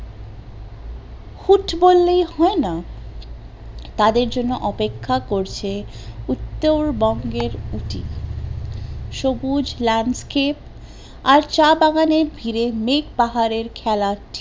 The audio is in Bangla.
কিন্তু বললেই হয়না তাদের জন্য অপেক্ষা করছে উত্তর বঙ্গের উটি, সবুজ landscape আর চা বাগানে র ভিড়ে মেঘ পাহাড়ের খেলা